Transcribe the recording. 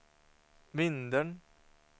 Vindeln